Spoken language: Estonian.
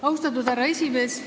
Austatud härra esimees!